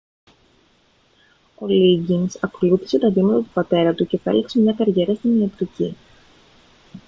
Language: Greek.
ο λίγκινς ακολούθησε τα βήματα του πατέρα του και επέλεξε μια καριέρα στην ιατρική